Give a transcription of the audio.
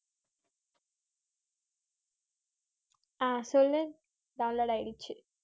ஆஹ் சொல்லு download ஆயிடுச்சு